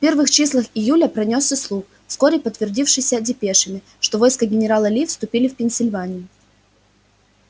в первых числах июля пронёсся слух вскоре подтвердившийся депешами что войска генерала ли вступили в пенсильванию